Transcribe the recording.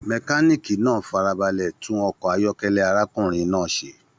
Mekaniiki náà farabalẹ tún ọkọ ayọkẹlẹ arákùnrin náà ṣe.